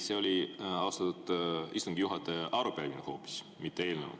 Ei, austatud istungi juhataja, see oli arupärimine hoopis, mitte eelnõu.